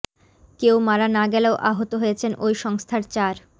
কেউ মারা না গেলেও আহত হয়েছেন ওই সংস্থার চার